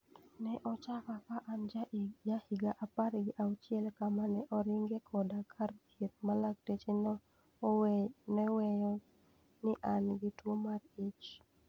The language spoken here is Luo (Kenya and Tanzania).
Ne ochaka ka an ja higa apar gi auchiel kama ne oringe koda kar thieth ma laktache ne weyo ni ana gi tuo mar ich.